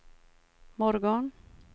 morgon